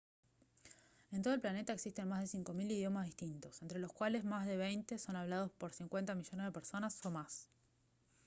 en todo el planeta existen más de 5000 idiomas distintos entre los cuales más de veinte son hablados por 50 millones de personas o más